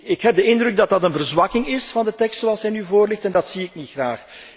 Ik heb de indruk dat deze een verzwakking inhouden van de tekst zoals hij nu voorligt, en dat zie ik niet graag.